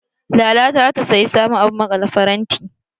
Lala ta zata sayi sabon abun maƙale faranti.